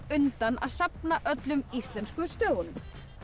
undan að safna öllum íslensku stöfunum